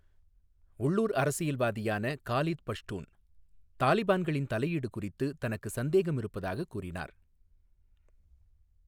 உள்ளூர் அரசியல்வாதியான காலித் பஷ்டூன் தாலிபான்களின் தலையீடு குறித்து தனக்கு சந்தேகம் இருப்பதாகக் கூறினார்.